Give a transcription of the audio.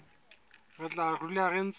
re tla dula re ntse